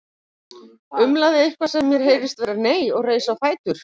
Umlaði eitthvað sem mér heyrðist vera nei og reis á fætur.